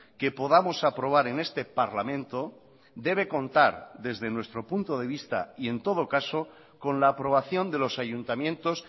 que podamos aprobar en este parlamento debe contar desde nuestro punto de vista y en todo caso con la aprobación de los ayuntamientos